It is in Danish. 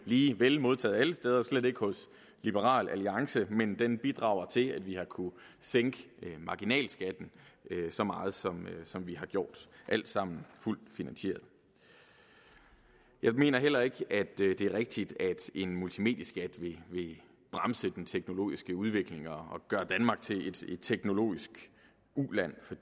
lige vel modtaget alle steder og slet ikke hos liberal alliance men den bidrager til at vi har kunnet sænke marginalskatten så meget som som vi har gjort alt sammen fuldt finansieret jeg mener heller ikke det er rigtigt at en multimedieskat vil bremse den teknologiske udvikling og gøre danmark til et teknologisk uland for